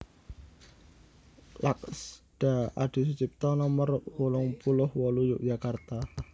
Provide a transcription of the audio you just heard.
Laksda Adisutjipto Nomer wolung puluh wolu Yogyakarta